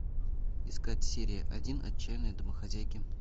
искать серия один отчаянные домохозяйки